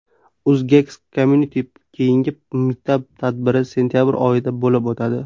UzGeeks Community keyingi mitap-tadbiri sentabr oyida bo‘lib o‘tadi.